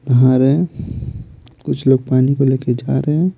नहा रहे हैं कुछ लोग पानी को लेके जा रहे हैं।